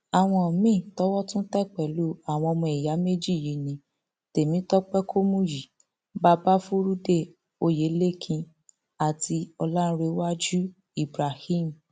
àwọn míín towó tún tẹ pẹlú àwọn ọmọ ìyá méjì yìí ní temitope kọmúyí babafurudé oyelekin àti ọlárèwájú ibrahim